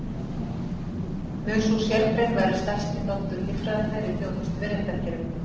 Mun sú sérgrein vera stærsti þáttur líffræðinnar í þjónustu við réttarkerfið.